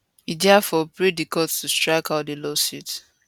e diafore pray di court to strike out di lawsuit